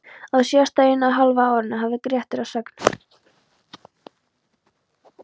Á síðasta eina og hálfa árinu hafði Grettir að sögn